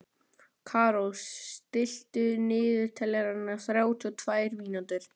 Karó, stilltu niðurteljara á þrjátíu og tvær mínútur.